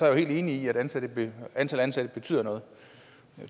jeg helt enig at antallet af ansatte betyder noget